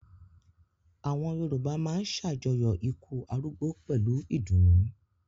Àwọn Yorùbá máa ṣàjọyọ̀ ikú arúgbó pẹ̀lú ìdùnnú.